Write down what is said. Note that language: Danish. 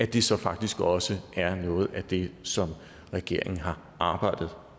det så faktisk også er noget af det som regeringen har arbejdet